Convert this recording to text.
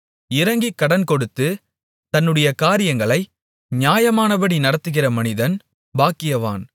இரங்கிக் கடன்கொடுத்து தன்னுடைய காரியங்களை நியாயமானபடி நடத்துகிற மனிதன் பாக்கியவான்